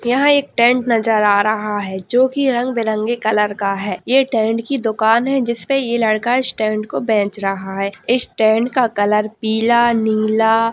यह एक टेंट नजर आ रहा है जो कि रंग बिरंगे कलर का है ये टेंट कि दुकान है जिस पर ये लड़का इस टेंट को बेच रहा है इस टेंट का कलर पीला नीला --